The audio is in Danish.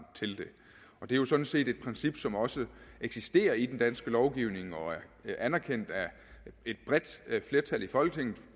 til det det er sådan set et princip som også eksisterer i den danske lovgivning og er anerkendt af et bredt flertal i folketinget